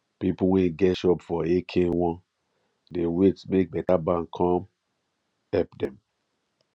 people wey get shop for ekenwan dey wait make better bank come help them